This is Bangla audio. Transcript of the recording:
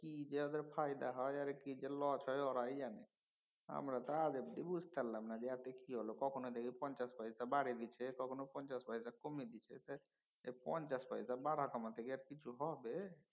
কি যে ওদের ফায়দা হয় কি যে loss হয় ওরাই জানে তো আজ অব্ধি বুঝতে পারলাম না যে কি হল কখনও দেখি পঞ্চাশ পয়সা বাড়িয়েছে কখনও পঞ্চাশ পয়সা কমিয়ে দিছে তে এই পঞ্চাশ পয়সা বাড়া কমা তে কি কিছু হবে?